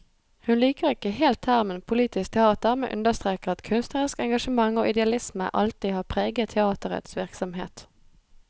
Hun liker ikke helt termen politisk teater, men understreker at kunstnerisk engasjement og idealisme alltid har preget teaterets virksomhet.